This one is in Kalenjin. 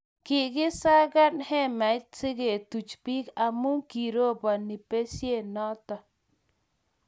kikisakan hemait sikutach biik amu kiroboni besie noto.